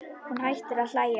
Hún hættir að hlæja.